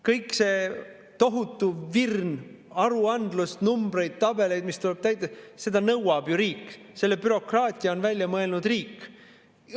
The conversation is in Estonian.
Kõik see tohutu virn aruandlust, numbreid, tabeleid, mis tuleb täita – seda nõuab ju riik, selle bürokraatia on välja mõelnud riik.